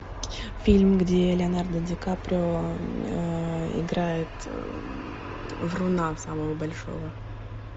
фильм где леонардо ди каприо играет вруна самого большого